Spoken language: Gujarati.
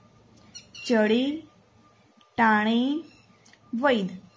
ચડે ટાણે વૈધ